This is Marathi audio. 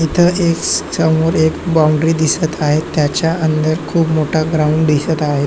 इथ एक समोर एक बाऊंडरी दिसत आहे त्याच्या अंदर खूप मोठा ग्राउंड दिसत आहे.